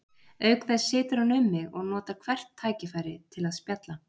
Auk þess situr hann um mig og notar hvert tækifæri til að spjalla.